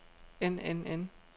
end end end